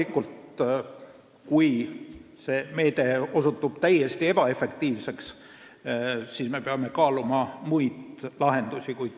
Kui see meede osutub täiesti ebaefektiivseks, siis me peame loomulikult kaaluma muid lahendusi.